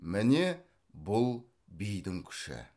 міне бұл бидің күші